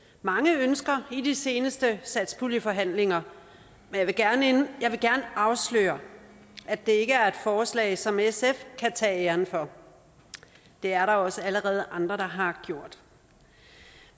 mange ønsker i de seneste satspuljeforhandlinger jeg vil gerne afsløre at det ikke er et forslag som sf kan tage æren for det er der også allerede andre der har gjort